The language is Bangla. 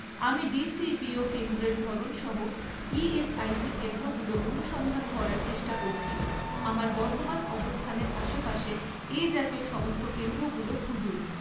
আমি ডিসিবিও কেন্দ্রের ধরন সহ ইএসআইসি কেন্দ্রগুলো অনুসন্ধান করার চেষ্টা করছি, আমার বর্তমান অবস্থানের আশেপাশে এই জাতীয় সমস্ত কেন্দ্রগুলো খুঁজুন